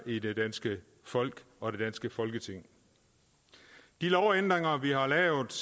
i det danske folk og det danske folketing de lovændringer vi har lavet